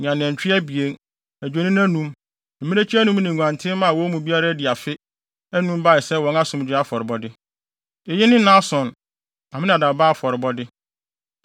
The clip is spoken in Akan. ne anantwi abien, adwennini anum, mmirekyi anum ne nguantenmma a wɔn mu biara adi afe, anum bae sɛ wɔn asomdwoe afɔrebɔde. Eyi ne Nahson, Aminadab ba afɔrebɔde.